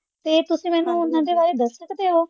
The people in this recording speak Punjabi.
ਤੇ ਤੁਸੀਂ ਮੈਨੂੰ ਓਹਨਾ ਦੇ ਬਾਰੇ ਦੱਸ ਸਕਦੇ ਹੋ?